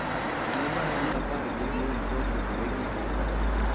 Ang�o ma en apar gi ang�wen ka opogore gi ariyo